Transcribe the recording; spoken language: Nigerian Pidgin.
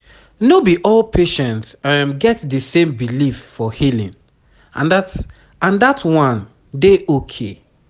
no be all patient get di same belief for healing and dat and dat one dey okay